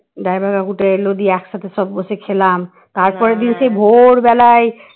driver কাকুটা এল দিয়ে একসাথে বসে সব খেলাম তারপর দিনকে ভোরবেলায়